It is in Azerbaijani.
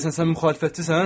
Deyirsən sən müxalifətçisən?